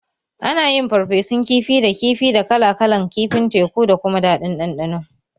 Ana yin farfesun kifi da kifi da kala kalan kifin teku da kuma daɗin ɗanɗano